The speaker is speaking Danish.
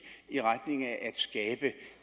i retning af at skabe